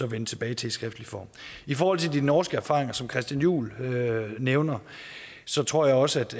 vende tilbage til i skriftlig form i forhold til de norske erfaringer som christian juhl nævner så tror jeg også